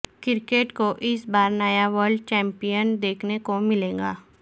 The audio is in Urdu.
کرکٹ کو اس بار نیا ورلڈ چیمپئن دیکھنے کو ملے گا